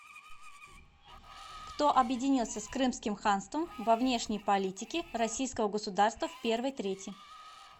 кто объединился с крымским ханством во внешней политики российского государства в первой трети